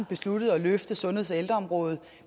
besluttet at løfte sundheds og ældreområdet